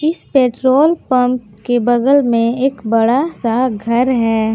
इस petrol pump के बगल में एक बड़ा सा घर है।